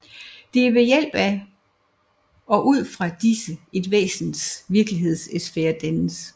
Det er ved hjælp af og ud fra disse et væsens virkelighedssfære dannes